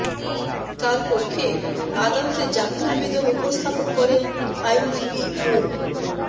তার পক্ষে আদালতে জামিন আবেদন উপস্থাপন করেন আইনজীবী মো